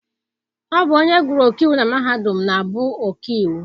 Ọ bụ onye gụrụ ọkaiwu na mahadum na-abụ ọkaiwu.